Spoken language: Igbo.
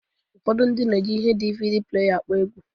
Ụfọdụ ndị na-eji ihe DvD pleya akpọ egwu